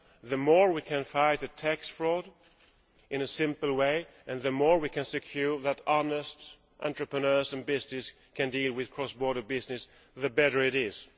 The more we can fight tax fraud in a simple way, the more we can ensure that honest entrepreneurs and businesses can deal with cross border business, the better it is.